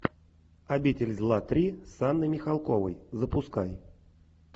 обитель зла три с анной михалковой запускай